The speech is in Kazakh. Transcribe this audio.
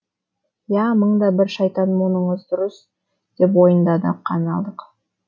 я мың да бір шайтан мұныңыз дұрыс деп мойындады канадалық